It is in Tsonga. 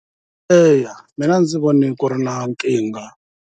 Eya mina a ndzi voni ku ri na nkingha.